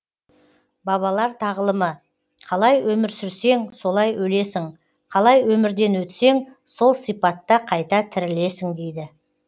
бабалар тағылымы қалай өмір сүрсең солай өлесің қалай өмірден өтсең сол сипатта қайта тірілесің дейді